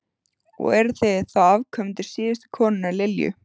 Og eruð þið þá afkomendur síðustu konunnar, Lilju?